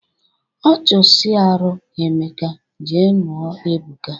Ọ chụsịarụ Emeka, je nụọ Ebuka